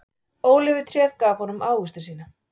Ólífutréð gaf honum ávexti sína.